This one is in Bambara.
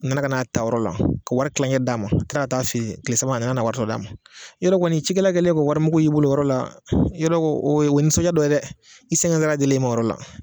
N nana ka n'a ta o yɔrɔ la ka wari kilankɛ d'a ma ka kila taa a fɛ ye kile saba ka na wari tɔ d'a ma yɔrɔ kɔni cikɛla kɛlennen k'o wari mugu y'i bolo o yɔrɔ la yarɔ o o ye nisɔndiya dɔ ye dɛ i sɛgɛn dilen i mɔ o yɔrɔ la.